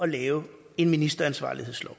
lave en ministeransvarlighedslov